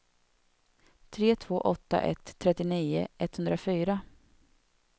tre två åtta ett trettionio etthundrafyra